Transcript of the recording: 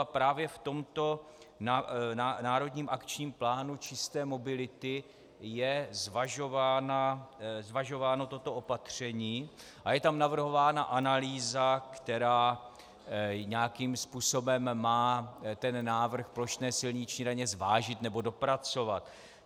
A právě v tomto Národním akčním plánu čisté mobility je zvažováno toto opatření a je tam navrhována analýza, která nějakým způsobem má ten návrh plošné silniční daně zvážit nebo dopracovat.